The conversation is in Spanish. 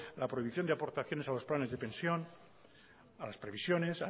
la prohibición de aportaciones a los planes de pensión a las previsiones